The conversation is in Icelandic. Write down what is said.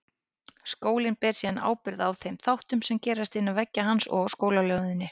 Skólinn ber síðan ábyrgð á þeim þáttum sem gerast innan veggja hans og á skólalóðinni.